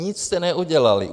Nic jste neudělali.